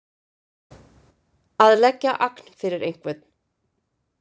Að leggja agn fyrir einhvern